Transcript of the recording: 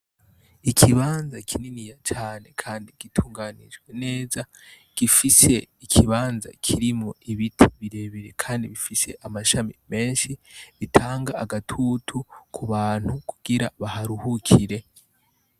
Ikibanza kininiya cane kandi gitunganijwe neza gifise ikibanza kirimwo ibiti bire bire kandi bifise amashami menshi bitanga agatutu kubantu kugira baharuhukire.